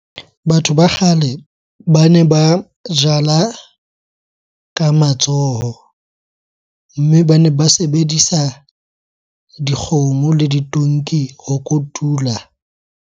Batho ba kgale bane ba jala ka matsoho. Mme bane ba sebedisa dikgomo le ditonki ho kotula.